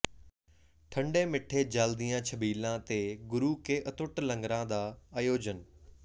ਠੰਡੇ ਮਿੱਠੇ ਜਲ ਦੀਆਂ ਛਬੀਲਾਂ ਤੇ ਗੁਰੂ ਕੇ ਅਤੁੱਟ ਲੰਗਰਾਂ ਦਾ ਆਯੋਜਨ